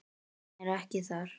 Hann er ekki þar.